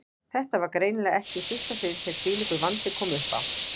Þetta var greinilega ekki í fyrsta sinn sem þvílíkur vandi kom uppá.